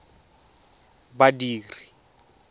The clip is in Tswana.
badiri